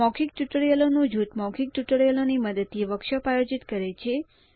મૌખિક ટ્યુટોરિયલોનું જૂથ મૌખિક ટ્યુટોરિયલોની મદદથી વર્કશોપ આયોજિત કરે છે